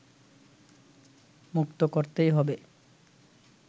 মুক্ত করতেই হবে